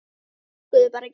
Þau virkuðu bara ekki.